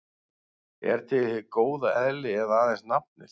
Er til hið góða eðli eða aðeins nafnið?